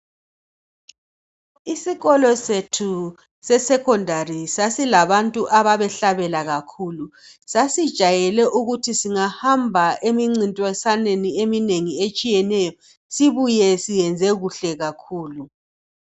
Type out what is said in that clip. Isikolo sethu sesecondary sasilabantu ababehlabela kakhulu. Sasijayele ukuthi singahamba emincintiswaneni eminengi etshiyeneyo sibuye siyenze kuhle kakhulu.